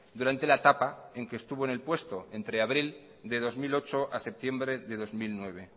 durante la etapa en que estuvo en el puesto entre abril de dos mil ocho a septiembre de dos mil nueve